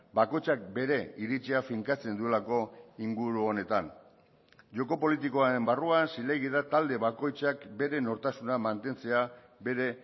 bakoitzak bere iritzia finkatzen duelako inguru honetan joko politikoaren barruan zilegi da talde bakoitzak bere nortasuna mantentzea bere